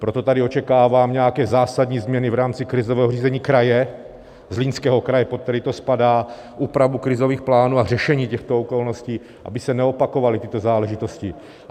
Proto tady očekávám nějaké zásadní změny v rámci krizového řízení kraje, Zlínského kraje, pod který to spadá, úpravu krizových plánů a řešení těchto okolností, aby se neopakovaly tyto záležitosti.